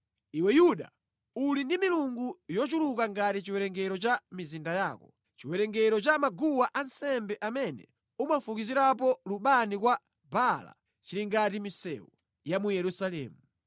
Iwe Yuda, uli ndi milungu yochuluka ngati chiwerengero cha mizinda yako; chiwerengero cha maguwa ansembe amene umafukizirapo lubani kwa Baala chili ngati misewu ya mu Yerusalemu.’